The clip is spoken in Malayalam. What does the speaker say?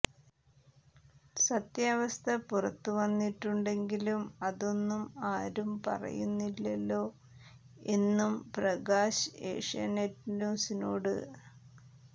സത്യാവസ്ഥ പുറത്തുവന്നിട്ടുണ്ടെങ്കിലും അതൊന്നും ആരും പറയുന്നില്ലല്ലോ എന്നും പ്രകാശ് ഏഷ്യാനെറ്റ് ന്യൂസിനോട്